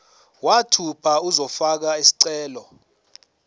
mathupha uzofaka isicelo